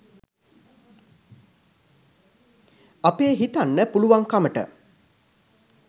අපේ හිතන්න පුළුවන්කමට